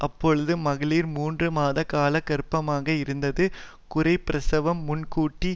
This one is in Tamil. அப்பொழுதும் மகளிர் மூன்று மாத காலம் கர்ப்பமாக இருந்தது குறைப்பிரசவம்முன்கூட்டி